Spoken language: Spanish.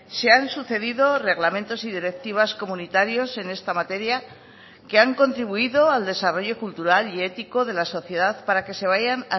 se han sucedido reglamentos y directivas comunitarios en esta materia que han contribuido al desarrollo cultural y ético de la sociedad para que se vayan